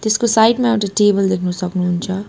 यसको साइड मा एउटा टेबल देख्नु सक्नुहुन्छ।